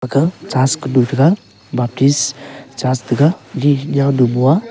ga church kanu thega baptist church tega d niaunu mo a.